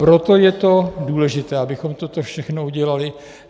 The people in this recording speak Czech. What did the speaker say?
Proto je to důležité, abychom toto všechno udělali.